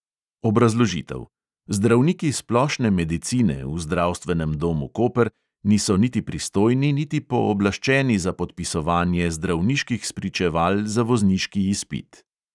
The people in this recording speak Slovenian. Obrazložitev: zdravniki splošne medicine v zdravstvenem domu koper niso niti pristojni niti pooblaščeni za podpisovanje zdravniških spričeval za vozniški izpit.